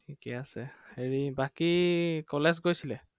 ঠিকেই আছে, হেৰি বাকী college গড়ছিলে?